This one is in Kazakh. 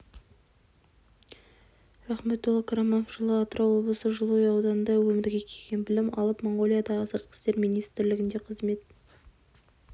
рахметолла қараманов жылы атырау облысы жылыой ауданында өмірге келген білім алып моңғолиядағы сыртқы істер министрлігінде қызмет